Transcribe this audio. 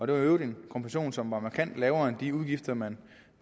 det var i øvrigt en kompensation som var markant lavere end de udgifter man